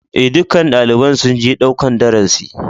E, dukkan dalibain sun je ɗaukan darasi.